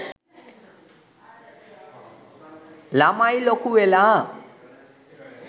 ළමයි ලොකුවෙලා